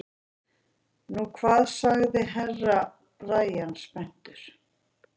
Nú hvað sagði Herra Brian spenntur.